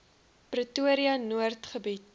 pretoria noord gebied